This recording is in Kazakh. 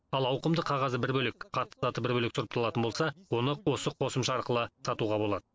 ал ауқымды қағазы бір бөлек қатты заты бір бөлек сұрыпталатын болса оны осы қосымша арқылы сатуға болады